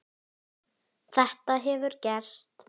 Þetta hefur gerst.